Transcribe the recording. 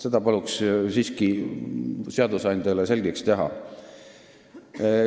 Selle paluks siiski seadusandjale selgeks teha.